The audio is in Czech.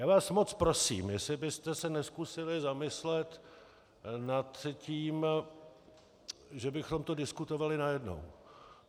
Já vás moc prosím, jestli byste se nezkusili zamyslet nad tím, že bychom to diskutovali najednou.